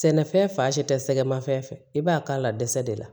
Sɛnɛfɛn fan si tɛ sɛgɛmafɛn fɛ i b'a k'a la dɛsɛ de la